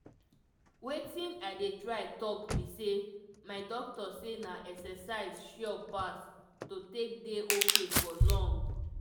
wetin i dey try talk be say my doctor say na exercise sure pass to take dey ok for long.